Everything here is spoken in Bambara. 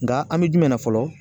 Nka an me jumɛn na fɔlɔ